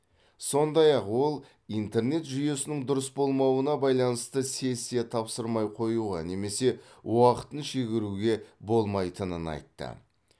сондай ақ ол интернет жүйесінің дұрыс болмауына байланысты сессия тапсырмай қоюға немесе уақытын шегеруге болмайтынын айтты